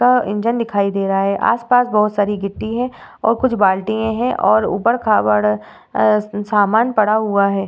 अ engine दिखाई दे रहा है। आसपास बोहोत सारी गिट्टी है और कुछ बाल्टिएँ हैं और ऊबड़ खाबड़ अ सामान पड़ा हुआ है।